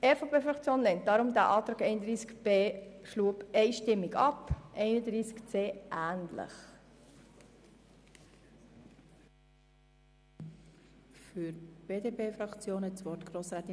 Deshalb lehnt die EVP-Fraktion diesen Antrag zu Artikel 31b einstimmig ab, denjenigen zu Artikel 31c lehnt sie ähnlich ab.